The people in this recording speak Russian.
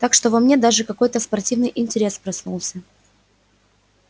так что во мне даже какой-то спортивный интерес проснулся